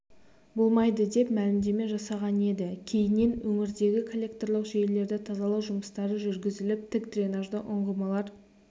болмайды деп мәлімдеме жасаған еді кейіннен өңірдегі коллекторлық жүйелерді тазалау жұмыстары жүргізіліп тік дренажды ұңғымалар